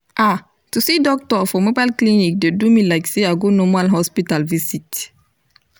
ah to see doctor for mobile clinic dey do me like say i go normal hospital visit